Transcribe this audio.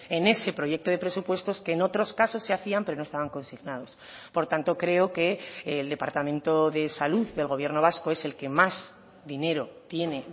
en ese proyecto de presupuestos que en otros casos se hacían pero no estaban consignados por tanto creo que el departamento de salud del gobierno vasco es el que más dinero tiene